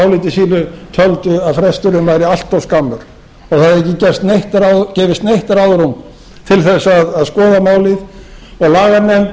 áliti sínu töldu að fresturinn væri allt of skammur og það hefði ekki gefist neitt ráðrúm til þess að skoða málið og laganefnd